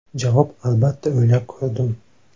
Javob: Albatta o‘ylab ko‘rdim.